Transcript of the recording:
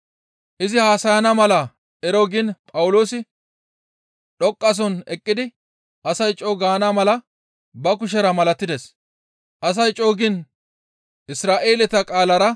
Izi haasayana mala ero giin Phawuloosi dhoqqasohon eqqidi asay co7u gaana mala ba kushera malatides; asay co7u giin Isra7eeleta qaalara,